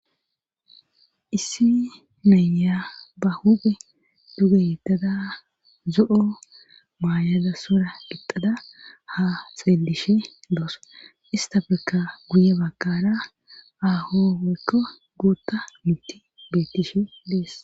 issi nayya ba huphe duge yettada zo7o maayada sora gixada ha xeelishe doos ista ferka guye bakara ahooykko gootta mitti beettishe dees